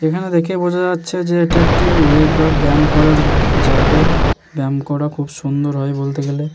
এখানে দেখে বোঝা যাচ্ছে যে এটা একটি ওয়েগা ব্যায়াম করার উম-ম জায়গা ব্যায়াম করা খুব সুন্দর হয় বলতে গেলে ।